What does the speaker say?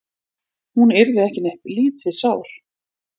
Hún yrði ekki neitt lítið sár.